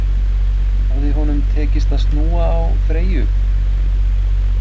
Hafði honum tekist að snúa á Freyju?